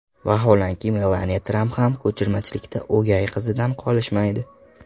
Vaholanki, Melaniya Tramp ham ko‘chirmachilikda o‘gay qizidan qolishmaydi.